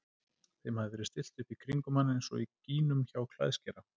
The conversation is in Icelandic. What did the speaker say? Þeim hafði verið stillt upp í kringum hann eins og gínum hjá klæðskera.